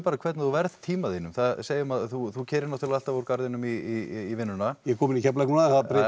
hvernig þú verð tíma þínum segjum að þú þú keyrir náttúrlega alltaf úr Garðinum í vinnuna ég er komin í Keflavík núna en það